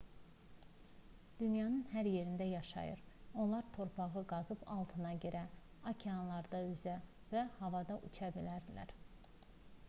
dünyanın hər yerində yaşayır onlar torpağı qazıb altına girə okeanlarda üzə və havada uça bilər